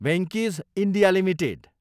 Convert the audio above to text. Venky's, India, limited